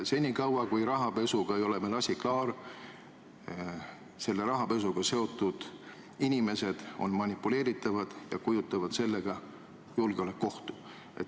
Senikaua kui rahapesuga ei ole meil asi klaar, on rahapesuga seotud inimesed manipuleeritavad ja kujutavad endast sellega julgeolekuohtu.